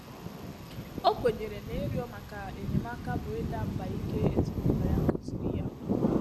Ọ́ kwènyèrè nà ị́rị́0̣ màkà ényémáká bụ́ ị́dà mbà íké èzínụ́l0̣ yá kụ́zị̀rị̀ yá.